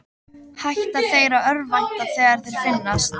Hætta þeir að örvænta þegar þeir finnast?